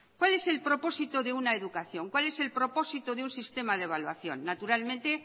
cuál es el propósito de una educación cuál es el propósito de un sistema de evaluación naturalmente